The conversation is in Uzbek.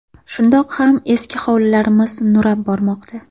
Shundoq ham eski hovlilarimiz nurab bormoqda.